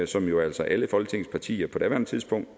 som jo altså alle folketingets partier på daværende tidspunkt